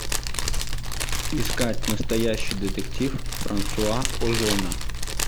искать настоящий детектив франсуа озона